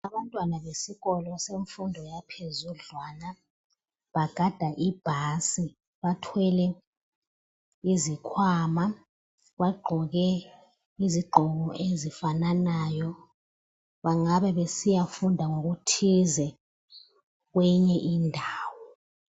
Abantwana besikolo bemfundo yaphezudlwana bagada ibhasi bathwele izikhwama. Bagqoke izimpahla ezifananayo bangabe besiyafunda ngokuthize kweyinye indawo.